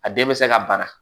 A den bɛ se ka bana